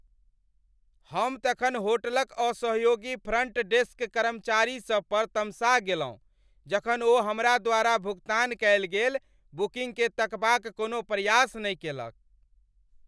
हम तखन होटलक असहयोगी फ्रन्ट डेस्क कर्मचारीसभ पर तमसा गेलहुँ जखन ओ हमरा द्वारा भुगतान कएल गेल बुकिंगके तकबा क कोनो प्रयास नहि केलक।